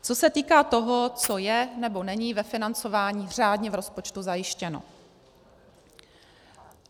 Co se týká toho, co je nebo není ve financování řádně v rozpočtu zajištěno.